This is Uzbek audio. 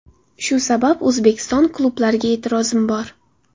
Shu sabab O‘zbekiston klublariga e’tirozim bor.